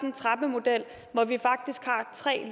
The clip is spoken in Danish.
en trappemodel hvor vi faktisk har tre